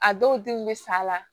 A dɔw denw bɛ sa la